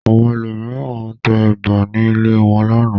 Àwọn ẹlòmíràn tẹ ẹ̀bà ní ilé wọn lánàá.